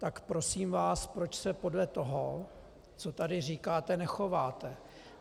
Tak prosím vás, proč se podle toho, co tady říkáte, nechováte?